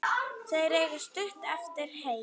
Þeir eiga stutt eftir heim.